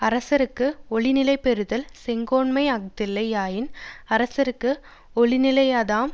அரசர்க்கு ஒளி நிலை பெறுதல் செங்கோன்மை அஃதில்லை யாயின் அரசர்க்கு ஒளி நிலையாதாம்